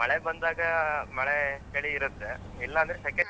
ಮಳೆ ಬಂದಾಗ ಅಹ್ ಮಳೆ ಚಳಿ ಇರುತ್ತೆ ಇಲ್ಲಾಂದ್ರೆ ಸೆಖೆ.